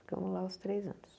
Ficamos lá os três anos.